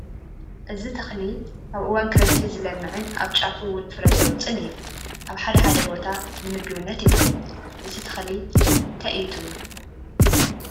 እዚ ተኽሊ ኣብ እዋን ክረምቲ ዝልምዕን ኣብ ጫፉ ውን ፍረ ዘውፅእን እዩ፡፡ ኣብ ሓደ ሓደ ቦታ ንምግብነት ይውዕል፡፡ እዚ ተኽሊ እንታይ እዩ ትብሉ?